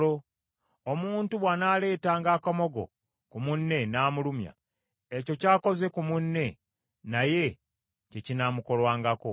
Omuntu bw’anaaleetanga akamogo ku munne n’amulumya, ekyo ky’akoze ku munne naye kye kinaamukolwangako: